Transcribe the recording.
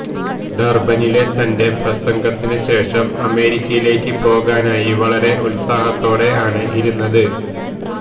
ഡര്ബനിലെ തന്റെ പ്രസംഗത്തിന് ശേഷം അമേരിക്കയിലേക്ക് പോകാനായി വളരെ ഉത്സാഹത്തോടെ ആണ് ഇരുന്നത്